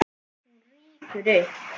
Hún rýkur upp.